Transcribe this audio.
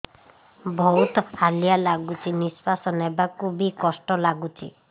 ବହୁତ୍ ହାଲିଆ ଲାଗୁଚି ନିଃଶ୍ବାସ ନେବାକୁ ଵି କଷ୍ଟ ଲାଗୁଚି